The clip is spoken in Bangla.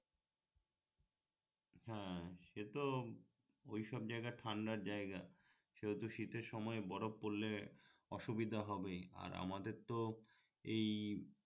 হ্যাঁ সে তো ঐসব জায়গা ঠান্ডার জায়গা সেহেতু শীতের সময় বরফ পড়লে অসুবিধা হবেই আর আমাদের তো এই